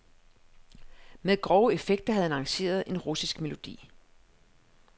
Med grove effekter havde han arrangeret en russisk melodi.